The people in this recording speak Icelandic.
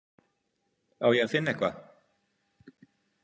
Á ég að finna eitthvað?